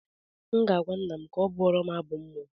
M ga-agwa nna m ka ọ bụọrọm abụ mmụọ